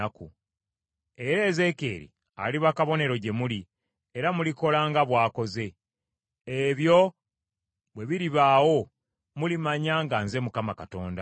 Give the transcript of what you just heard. Era Ezeekyeri aliba kabonero gye muli, era mulikola nga bw’akoze. Ebyo bwe biribaawo, mulimanya nga nze Mukama Katonda.’